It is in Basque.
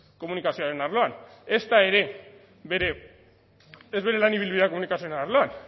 komunikazioaren arloan